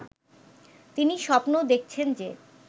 তিনি স্বপ্ন দেখছেন যে